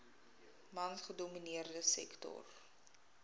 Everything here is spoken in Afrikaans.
mans gedomineerde sektor